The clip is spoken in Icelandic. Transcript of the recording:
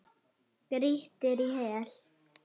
Grýttir í hel.